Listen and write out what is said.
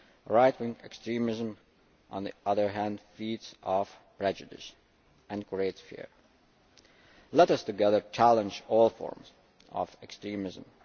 Right wing extremism, on the other hand, feeds off prejudice and creates fear. Let us together challenge all forms of extremism.